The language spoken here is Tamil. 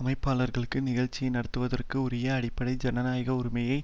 அமைப்பாளர்களுக்கு நிகழ்ச்சியை நடத்துவதற்கு உரிய அடிப்படை ஜனநாய உரிமையை